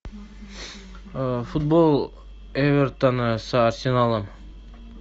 футбол эвертона с арсеналом